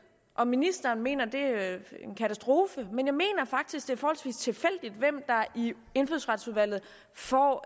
og ministeren mener at det er en katastrofe men jeg mener faktisk det er forholdsvis tilfældigt hvem der i indfødsretsudvalget får